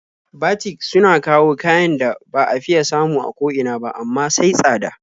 Batik suna kawo kayan da ba a fiya samu a ko ina ba, amma sai tsada.